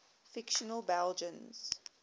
fictional belgians